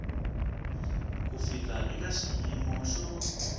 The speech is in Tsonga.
ku fika eka xiyimo xo